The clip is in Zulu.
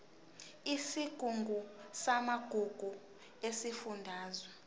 isigungu samagugu sesifundazwe